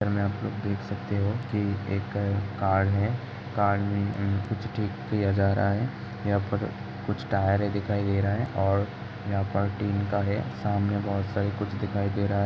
Picture में आप लोग देख सकते हो की एक कार है कार में कुछ ठीक किया जा रहा है। यहाँ पर कुछ टायर है दिखाई दे रहा हैं और यहाँ पर टीन का है सामने बहुत सारा कुछ दिखाई दे रहा है।